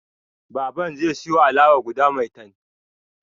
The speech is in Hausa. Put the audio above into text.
Baban zai siyo alawa guda maitan